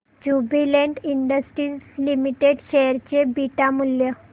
Jubilant Industries Limited share चे beta मूल्य